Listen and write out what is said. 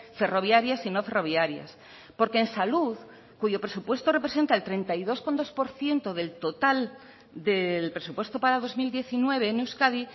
ferroviarias y no ferroviarias porque en salud cuyo presupuesto representa el treinta y dos coma dos por ciento del total del presupuesto para dos mil diecinueve en euskadi